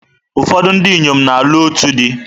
Ụfọdụ ndị inyom na-alụ otu di.